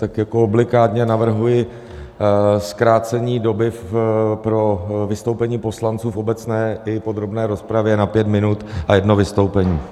Tak jako obligátně navrhuji zkrácení doby pro vystoupení poslanců v obecné i podrobné rozpravě na pět minut a jedno vystoupení.